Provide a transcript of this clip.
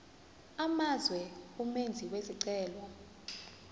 amazwe umenzi wesicelo